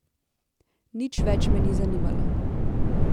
Nič več me ni zanimalo.